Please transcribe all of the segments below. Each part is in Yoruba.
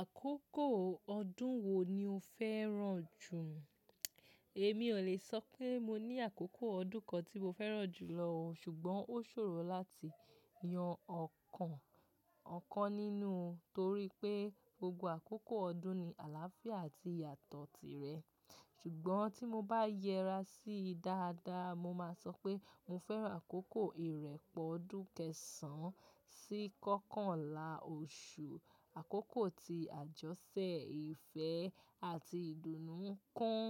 Àkókò ọdún wo ni o fẹ́ràn jù? Èmi ò le sọ pé mo ní àkókò ọdún kan tí mo fẹ́ràn jù lọ, ṣùgbọ́n ó ṣòro láti yan ọ̀kan, ọ̀kan nínú, torí pé gbogbo àkókò ọdún ni àlàáfíà àti ìyàtọ̀ tirẹ̀. Ṣùgbọ́n tí mo bá yẹra sí dáadáa, mo máa sọ pé mo fẹ́ràn àkókò ìrẹ́pọ̀ ọdún kẹsàn sí kọ́kànlá oṣù, àkókò ti àjọṣẹ, ìfẹ́ àti ìdùnnú ń kún.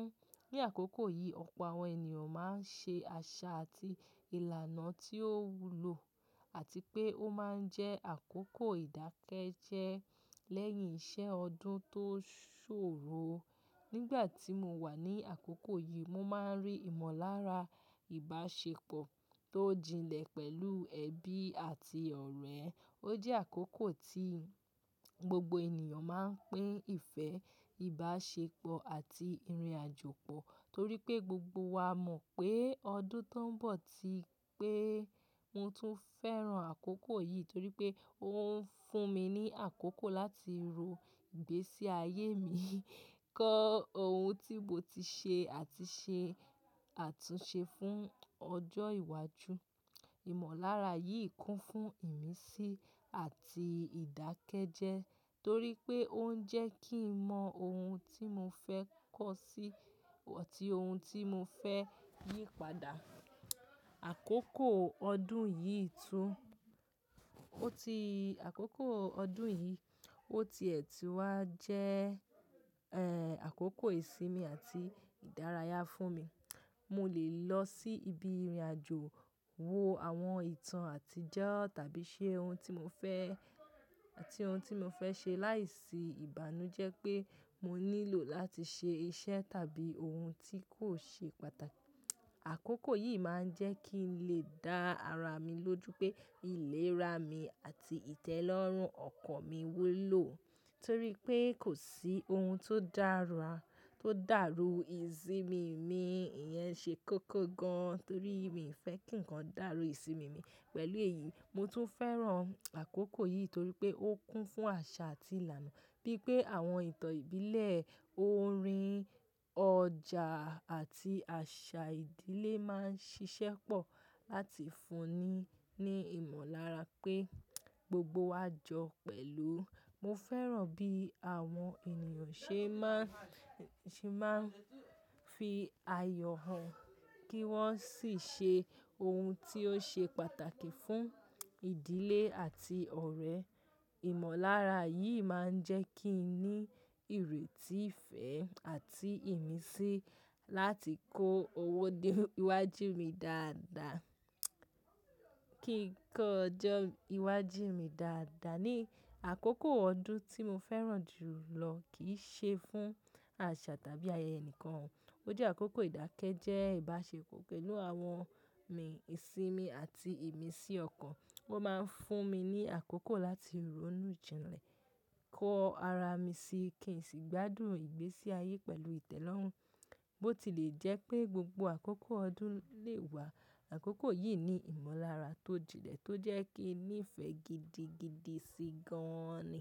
Ni àkókò yìí, ọ̀pọ̀ àwọn ènìyàn máa ń ṣe àṣà àti ìlànà tí ó wúlò àti pé ó máa ń jẹ́ àkókò ìdákẹ́jẹ́ẹ́ lẹ́yìn iṣẹ́ ọdún tó ṣòro. Nígbà tí mo wà ní àkókò yìí, mo máa ń rí ìmọ̀lára ìbáṣepọ̀ tó jinlẹ̀ pẹ̀lú ẹbí àti ọ̀rẹ́. Ó jẹ́ àkókò tí gbogbo ènìyàn máa ń pín ìfẹ́, ìbáṣepọ̀ àti ìrìnàjò pọ̀ torí pé gbogbo wa mọ̀ pé ọdún tó ń bọ̀ ti pé. Mo tún fẹ́ràn àkókò yìí torí pé ó ń fún mi ní àkókò láti ro ìgbésí ayé mi, kọ́ ohun tí mo ti ṣe àti ṣe àtúnṣe fún ọjọ́ iwájú. Ìmọ̀lára yìí kún fún ìmísí àti ìdákẹ́jẹ́ẹ́ torí pé ó ń jẹ́ kí n mọ ohun tí mo fẹ́ kọ́ sí àti ohun tí mo fẹ́ yí padà. Àkókò ọdún yìí tún, ó ti àkókò ọdún yìí, ó ti ètì wá jẹ́ ẹ, àkókò ìsinmi àti ìdárayá fún mi. Mo lè lọ sí ibi ìrìnàjò, wo àwọn ìtàn àtijọ́ tàbí ṣe ohun tí mo fẹ́, àti ohun tí mo fẹ́ ṣe láìsí ìbànújẹ́ pé mo nílò láti ṣe iṣẹ́ tàbí ohun tí kò ṣe pàtàkì. Àkókò yìí máa ń jẹ́ kí n lè dá ara mi lójú pé ìlera mi àti ìtẹ́lọ́rùn ọkàn mi wúlò, torí pé kò sí ohun tó dàra, tó dàrú ìsinmi mi. Ìyẹn ṣe kókó gan torí mi ò fẹ́ kí ǹkan dàrú ìsinmi mi. Pẹ̀lú èyí, mo tún fẹ́ràn àkókò yìí torí pé ó kún fún àṣà àti ìlànà. Bí pé àwọn ìtàn ìbílẹ̀, orin, ọjà àti àṣà ìdílé máa ń ṣiṣẹ́ pọ̀ láti fún ni, ní ìmọ̀lára pé gbogbo wa jọ pẹ̀lú. Mo fẹ́ràn bí àwọn ènìyàn ṣe má ń, ṣe má ń fi ayọ̀ hàn kí wọ́n sì ṣe ohun tí ó ṣe pàtàkì fún ìdílé àti ọ̀rẹ́. Ìmọ̀lára yìí máa ń jẹ́ kí n ní ìrètí ìfẹ́ àti ìmísí láti kó owó dé iwájú mi dáadáa, kí n kọ́ ọjọ́ iwájú mi dáadáa. Ní àkókò ọdún tí mo fẹ́ràn jù lọ kì í ṣe fún àṣà tàbí ayẹyẹ ẹnìkan. Ó jẹ́ àkókò ìdákẹ́jẹ́ẹ́, ìbáṣepọ̀ pẹ̀lú àwọn mi, ìsinmi àti ìmísí ọkàn. Ó máa ń fún mi ní àkókò láti ronú jinlẹ̀, kọ ara mi si kì í sì gbádùn ìgbésí ayé pẹ̀lú ìtẹ́lọ́rùn. Bó ti lè jẹ́ pé gbogbo àkókò ọdún lè wà, àkókò yìí ní ìmọ̀lára tó jinlẹ̀ tó jẹ́ kí n nífẹ̀ẹ́ gidigidi sí i gan ni.